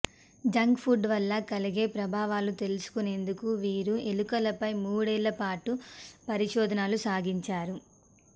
junk food వల్ల కలిగే ప్రభావాలు తెలుసుకునేందుకు వీరు ఎలుకలపై మూడేళ్ల పాటు పరిశోధనలు సాగించారు